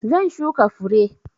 Zan shuka fure.